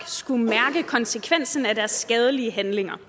skulle mærke konsekvensen af deres skadelige handlinger